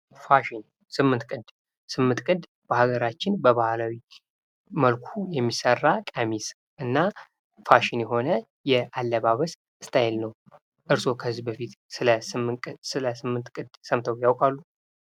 ፋሽን ስምንት ቅድ ስምንት ቅድ በሃገራችን በባህላዊ መልኩ የሚሠራ ቀሚስ እና ፋሽን የሆነ የአለባበስ ስታይል ነው ።እርስዎ ከዚህ በፊት ስለ ስምንት ቅድ ስምተው ያውቃሉ?